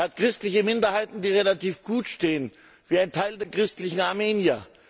Er hat christliche Minderheiten, die relativ gut stehen, wie ein Teil der christlichen Armenier.